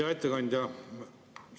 Hea ettekandja!